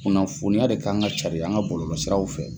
Kunnafoniya de k'an ka carin an ka bɔlɔlasiraw fɛ